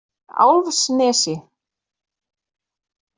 Álfsnesi